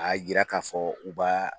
A yira ka fɔ u b'a